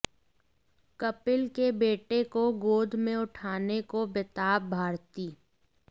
कपिल के बेटे को गोद में उठाने को बेताब भारती